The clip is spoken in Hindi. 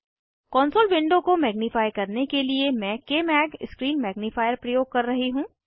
कॉन्सोल विंडो को मैग्निफाइ करने के लिए मैं कमाग स्क्रीन मैग्निफायर प्रयोग कर रही हूँ